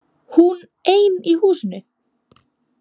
Hún ein í húsinu.